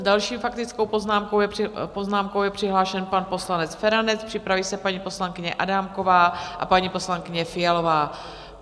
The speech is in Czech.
S další faktickou poznámkou je přihlášen pan poslanec Feranec, připraví se paní poslankyně Adámková a paní poslankyně Fialová.